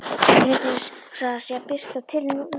Mér finnst einsog það sé að birta til, Lúna.